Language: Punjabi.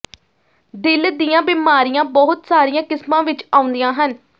ਦਿਲ ਦੀਆਂ ਬਿਮਾਰੀਆਂ ਬਹੁਤ ਸਾਰੀਆਂ ਕਿਸਮਾਂ ਵਿੱਚ ਆਉਂਦੀਆਂ ਹਨ